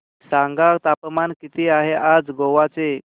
सांगा तापमान किती आहे आज गोवा चे